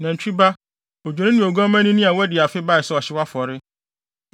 Nantwi ba, odwennini ne oguamma onini a wadi afe bae sɛ ɔhyew afɔre,